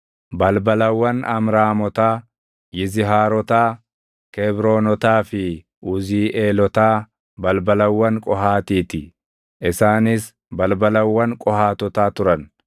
Balbalawwan Amraamotaa, Yizihaarotaa, Kebroonotaa fi Uziiʼeelotaa balbalawwan Qohaatii ti; isaanis balbalawwan Qohaatotaa turan.